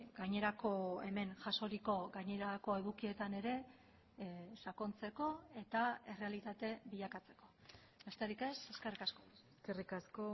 gainerako hemen jasoriko gainerako edukietan ere sakontzeko eta errealitate bilakatzeko besterik ez eskerrik asko eskerrik asko